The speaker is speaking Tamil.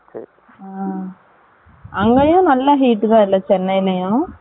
அங்கயும் நல்ல heat தான் இல்லை, சென்னையிலயும்